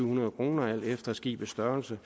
hundrede kroner alt efter skibets størrelse